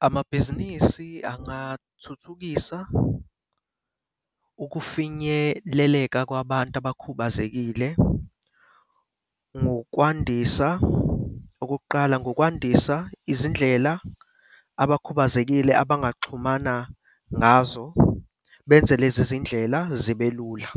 Amabhizinisi angathuthukisa ukufinyeleleka kwabantu abakhubazekile ngokwandisa, okokuqala ngokwandisa izindlela abakhubazekile abangaxhumana ngazo benze lezi zindlela zibe lula.